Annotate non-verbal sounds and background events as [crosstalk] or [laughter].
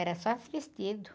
Era só [unintelligible] vestido.